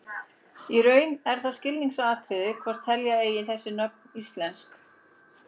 Í raun er það skilgreiningaratriði hvort telja eigi þessi nöfn íslensk nöfn.